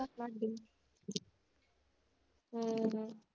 ਹਮ ਹਮ